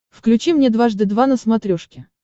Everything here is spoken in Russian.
включи мне дважды два на смотрешке